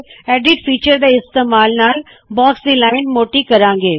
edit feature ਦੇ ਇਮਤੇਮਾਲ ਨਾਲ ਬਾਕਸ ਦੀ ਲਾਇਣ ਮੋੱਟੀ ਕਰਾੰ ਗੇ